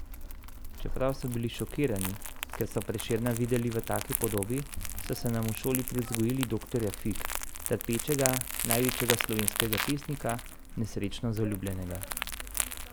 Čeprav so bili šokirani, ker so Prešerna videli v taki podobi, saj so nam v šoli privzgojili doktorja Fig, trpečega največjega slovenskega pesnika, nesrečno zaljubljenega.